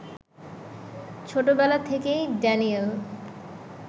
ছোটবেলা থেকেই ড্যানিয়েল